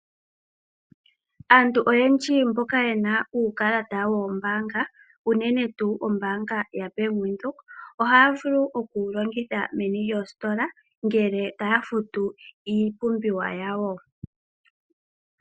Aantu oyendji mboka yena uukalata woombaanga unene tuu ombaanga ya Bank Windhoek . Ohaya vulu oku wu longitha meni lyoositola ngele taya futu iipumbiwa yawo.